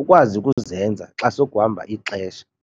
ukwazi ukuzenza xa sokuhamba ixesha.